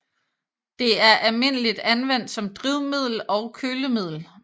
Det er almindeligt anvendt som drivmiddel og kølemiddel